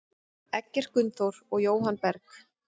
Eggert Gunnþór og Jóhann Berg.